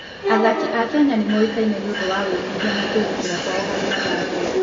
Athaki a Kenya nĩ moĩkaine nĩ ũndũ wa wĩnyihia na kwĩrutĩra kwao harĩ mathako.